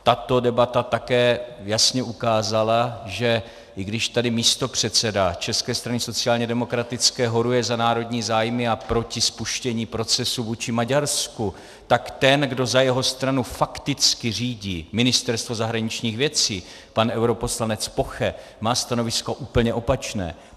Tato debata také jasně ukázala, že i když tady místopředseda České strany sociálně demokratické horuje za národní zájmy a proti spuštění procesu vůči Maďarsku, tak ten, kdo za jeho stranu fakticky řídí Ministerstvo zahraničních věcí, pan europoslanec Poche, má stanovisko úplně opačné.